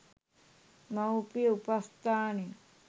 මවුපිය උපස්ථානය